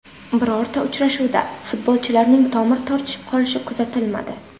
Birorta uchrashuvda futbolchilarning tomir tortishib qolishi kuzatilmadi.